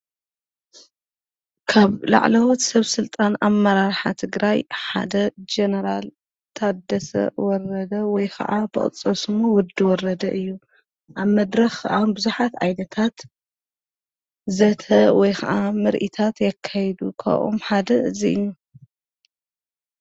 ካብ ላዕለዎት ሰብ ሥልጣን ኣብ መራርሓ ት ግራይ ሓደ ጀነራል ታደሰ ወረደ ወይ ኸዓ ብቕፀስሙ ወዲ ወረደ እዩ ኣብ መድረ ኸዓ ብዙኃት ኣይነታት ዘተ ወይ ኸዓ ምርኢታት የካይዱ ኽኦም ሓደ እዙይ እዩ።